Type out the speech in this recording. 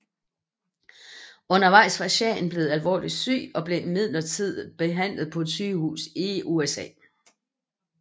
Undervejs var shahen blev alvorligt syg og blev midlertidigt behandlet på et sygehus i USA